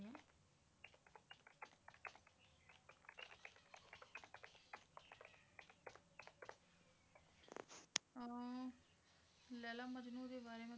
ਅਹ ਲੈਲਾ ਮਜਨੂੰ ਦੇ ਬਾਰੇ